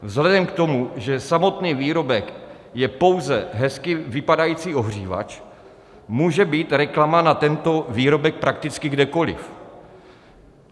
Vzhledem k tomu, že samotný výrobek je pouze hezky vypadající ohřívač, může být reklama na tento výrobek prakticky kdekoliv.